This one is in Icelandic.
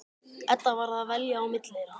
Edda varð að velja á milli þeirra.